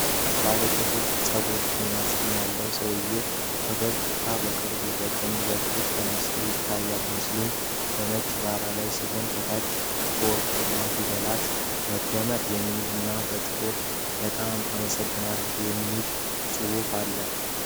ባለ ጥቁር ፀጉር እና ጢም ያለው ሰውዬ ፈገግታ በቅርበት ከቀኝ በኩል ተነስተው ይታያል። ምስሉ በነጭ ዳራ ላይ ሲሆን፣ ከታች በወርቃማ ፊደላት “መዝሙር” የሚል እና በጥቁር “በጣም አመሰግናለሁ” የሚል ጽሑፍ አለ።